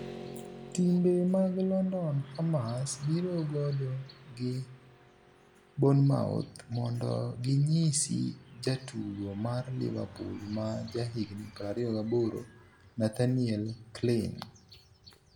Timbe mag London Hammers biro godo gi Bournemouth mondo ginyisi jatugo mar Liverpool ma jahigni 28, Nathaniel Clyne.